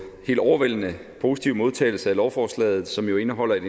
helt overvældende positive modtagelse af lovforslaget som jo indeholder et